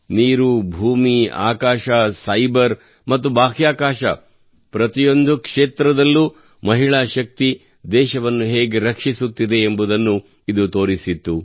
ನೀರು ಭೂಮಿ ಆಕಾಶ ಸೈಬರ್ ಮತ್ತು ಬಾಹ್ಯಾಕಾಶ ಪ್ರತಿಯೊಂದು ಕ್ಷೇತ್ರದಲ್ಲೂ ಮಹಿಳಾ ಶಕ್ತಿಯು ದೇಶವನ್ನು ಹೇಗೆ ರಕ್ಷಿಸುತ್ತಿದೆ ಎಂಬುದನ್ನು ಇದು ತೋರಿಸಿತ್ತು